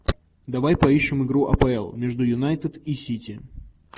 давай поищем игру апл между юнайтед и сити